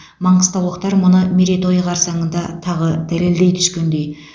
маңғыстаулықтар мұны мерейтойы қарсаңында тағы дәлелдей түскендей